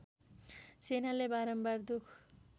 सेनाले बारम्बार दुख